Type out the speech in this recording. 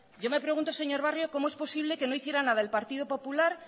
yo me pregunto señor barrio cómo es posible que no hicieran la del partido popular